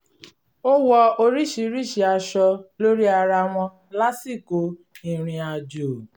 ó wọ oríṣiríṣi aṣọ lórí ara wọn lásìkò ìrìn-àjò